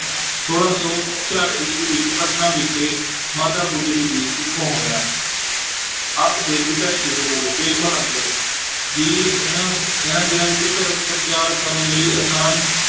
ਛੋਲਾਂ ਸੌ ਛਿਆਹਠ ਈਸਵੀ ਵਿੱਚ ਪਟਨਾ ਵਿਖੇ ਮਾਤਾ ਗੁਜਰੀ ਜੀ ਕੁੱਖੋਂ ਹੋਇਆ ਆਪ ਦੇ ਪਿਤਾ ਸ੍ਰੀ ਗੁਰੂ ਤੇਗ ਬਹਾਦਰ ਜੀ ਇਹਨਾਂ ਇਹਨਾਂ ਦਿਨਾਂ ਵਿੱਚ ਧਰਮ ਪ੍ਰਚਾਰ ਕਰਨ ਲਈ ਆਸਾਮ